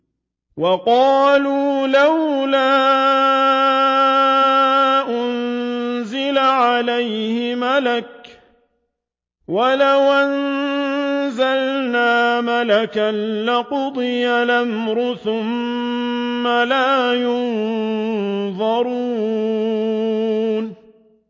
وَقَالُوا لَوْلَا أُنزِلَ عَلَيْهِ مَلَكٌ ۖ وَلَوْ أَنزَلْنَا مَلَكًا لَّقُضِيَ الْأَمْرُ ثُمَّ لَا يُنظَرُونَ